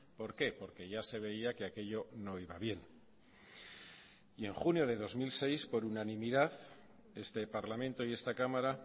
por qué por que ya se veía que aquello no iba bien y en junio de dos mil seis por unanimidad este parlamento y esta cámara